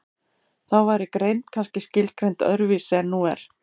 Þá væri greind kannski skilgreind öðru vísi en nú er.